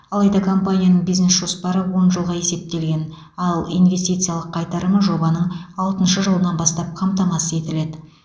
алайда компанияның бизнес жоспары он жылға есептелген ал инвестициялық қайтарымы жобаның алтыншы жылынан бастап қамтамасыз етіледі